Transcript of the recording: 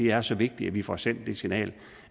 er så vigtigt at vi får sendt det signal